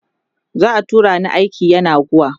za'a tura ni aiki yenagoa